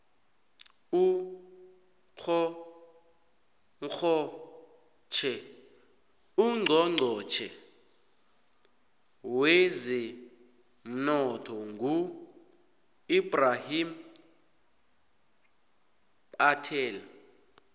ucnchonchotjhe wezemnotho ngu ebrahim patel